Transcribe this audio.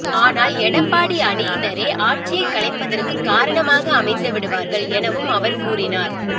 ஆனால் எடப்பாடி அணியினரே ஆட்சியை கலைப்பதற்கு காரணமாக அமைந்துவிடுவார்கள் எனவும் அவர் கூறினார்